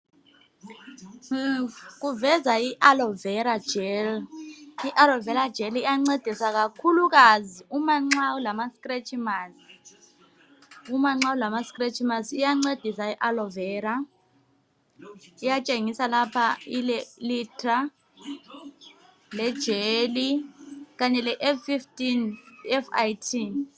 kuveza i aloe vera jelly i aloe vera jelly iyancedisa kakhulukazi uma nxa ulama stretch marks iyancedisa i aloe vera iyatshengisa lapha ile liter le jelly kanye le L15 F.I.T